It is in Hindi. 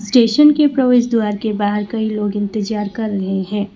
स्टेशन के प्रवेश द्वार के बाहर कई लोग इंतजार कर रहे हैं।